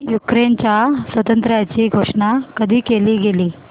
युक्रेनच्या स्वातंत्र्याची घोषणा कधी केली गेली